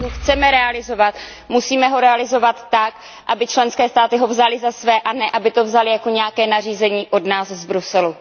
Pokud ho chceme realizovat, musíme ho realizovat tak, aby ho členské státy vzaly za své a ne aby to vzaly jako nějaké nařízení od nás z Bruselu.